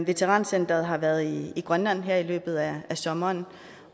veterancenteret har været i grønland her i løbet af sommeren